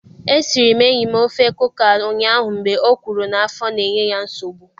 E siri m enyim ofe kuka ụnyaahụ mgbe o kwuru na afọ na enye ya nsogbu